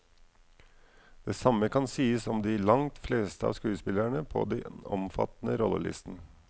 Det samme kan sies om de langt fleste av skuespillerne på den omfattende rollelisten.